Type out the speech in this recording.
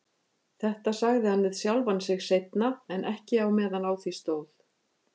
Þetta sagði hann við sjálfan sig seinna, en ekki á meðan á því stóð.